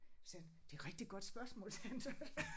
Sagde han det rigtig godt spørgsmål sagde han så